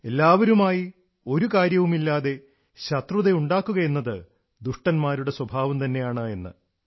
എല്ലാവരുമായി ഒരു കാര്യവുമില്ലാതെ ശത്രുതയുണ്ടാക്കുകയെന്നത് ദുഷ്ടന്മാരുടെ സ്വഭാവം തന്നെയാണ് എന്ന്